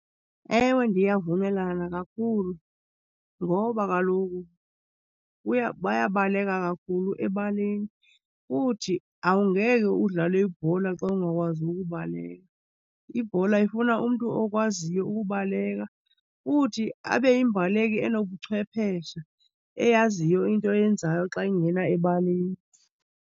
Ewe, ndiyavumelana kakhulu ngoba kaloku bayabaleka kakhulu ebaleni futhi awungeke udlale ibhola xa ungakwazi ukubaleka. Ibhola ifuna umntu okwaziyo ukubaleka futhi abe yimbaleki enobuchwephesha, eyaziyo into eyenzayo xa ingena ebaleni.